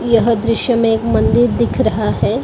यह दृश्य में एक मंदिर दिख रहा है।